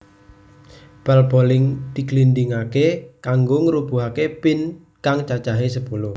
Bal boling diglindingaké kanggo ngrubuhake pin kang cacahé sepuluh